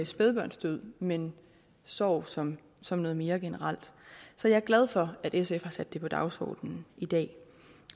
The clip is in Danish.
spædbørnsdød men sorg som som noget mere generelt så jeg er glad for at sf har sat det på dagsordenen i dag